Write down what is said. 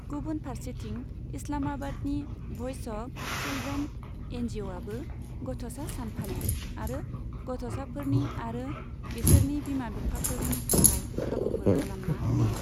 गुबुन फारसेथिं, इस्लामाबादनि भइस अफ चिलड्रेन एनजिअ'आबो गथ'सा सान फालियो आरो गथ'साफोरनि आरो बिसोरनि बिमा बिफाफोरनि थाखाय खाबुफोर खालामना होयो।